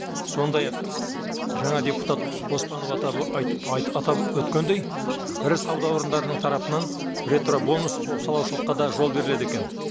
сондай ақ жаңа депутат оспанов атап айтып атап өткендей ірі сауда орындарының тарапынан ретробонус болып санаушылыққа да жол беріледі екен